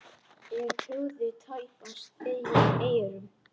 Ég trúði tæpast eigin eyrum.